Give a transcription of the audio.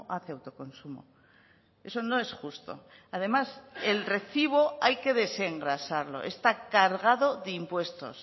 hace autoconsumo eso no es justo además el recibo hay que desengrasarlo está cargado de impuestos